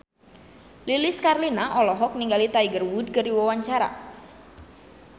Lilis Karlina olohok ningali Tiger Wood keur diwawancara